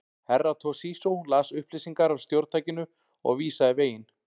Herra Toshizo las upplýsingar af stjórntækinu og vísaði veginn.